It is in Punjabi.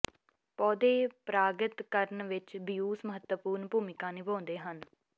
ਪੌਦੇ ਪਰਾਗਿਤ ਕਰਨ ਵਿੱਚ ਬੀਉਸ ਮਹੱਤਵਪੂਰਣ ਭੂਮਿਕਾ ਨਿਭਾਉਂਦੇ ਹਨ